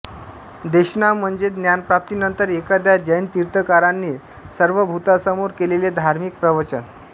देशना म्हणजे ज्ञानप्राप्तीनंतर एखाद्या जैन तीर्थंकराने सर्वभूतांसमोर केलेले धार्मिक प्रवचन